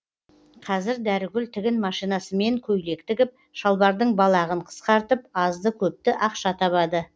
қазір дәрігүл тігін машинасымен көйлек тігіп шалбардың балағын қысқартып азды көпті ақша табады